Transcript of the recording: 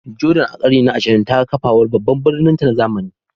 Jordan, a ƙarni na 20, ta ga kafawar babban birninta na zamani.